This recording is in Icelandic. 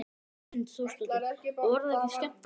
Hrund Þórsdóttir: Og var það skemmtilegt?